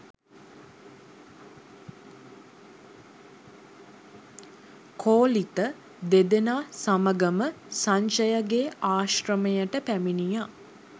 කෝලිත දෙදෙනා සමඟම සංජයගේ ආශ්‍රමයට පැමිණියා.